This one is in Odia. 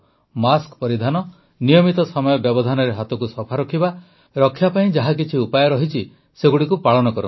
ମାସ୍କ ପରିଧାନ ନିୟମିତ ସମୟ ବ୍ୟବଧାନରେ ହାତକୁ ସଫା ରଖିବା ରକ୍ଷା ପାଇଁ ଯାହାକିଛି ଉପାୟ ରହିଛି ସେଗୁଡ଼ିକୁ ପାଳନ କରନ୍ତୁ